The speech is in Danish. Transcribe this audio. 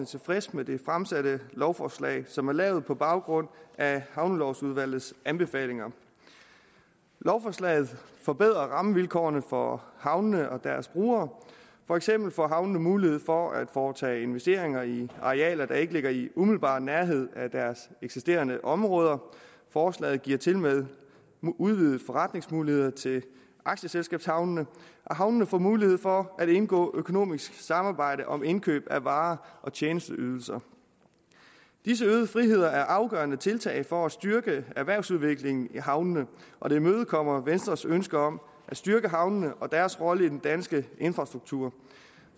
tilfredse med det fremsatte lovforslag som er lavet på baggrund af havnelovudvalgets anbefalinger lovforslaget forbedrer rammevilkårene for havnene og deres brugere for eksempel får havnene mulighed for at foretage investeringer i arealer der ikke ligger i umiddelbar nærhed af deres eksisterende områder forslaget giver tilmed udvidede forretningsmuligheder til aktieselskabshavnene havnene får mulighed for at indgå økonomisk samarbejde om indkøb af varer og tjenesteydelser disse øgede friheder er afgørende tiltag for at styrke erhvervsudviklingen i havnene og imødekommer venstres ønske om at styrke havnene og deres rolle i den danske infrastruktur